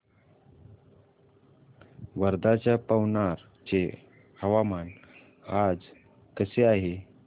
वर्ध्याच्या पवनार चे हवामान आज कसे आहे